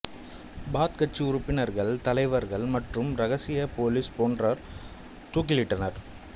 பாத் கட்சி உறுப்பினர்கள் தலைவர்கள் மற்றும் இரகசிய பொலிஸ் போன்றோர் தூக்கிலிட்டனர்